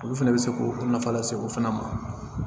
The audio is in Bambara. Olu fɛnɛ bɛ se k'o nafa lase o fana ma